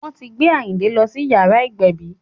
Wọ́n ti gbé Àyìnkẹ́ lọ sí yàrá ìgbẹ̀bí